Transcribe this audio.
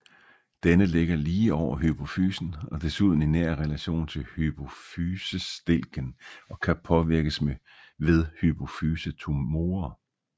Denne ligger lige over hypofysen og desuden i nær relation til hypofysestilken og kan påvirkes ved hypofysetumorer